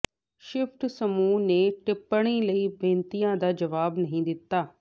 shift ਸਮੂਹ ਨੇ ਟਿੱਪਣੀ ਲਈ ਬੇਨਤੀਆਂ ਦਾ ਜਵਾਬ ਨਹੀਂ ਦਿੱਤਾ